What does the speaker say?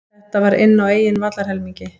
Þetta var inn á eigin vallarhelmingi.